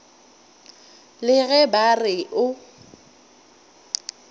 le ge ba re o